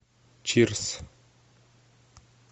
чирс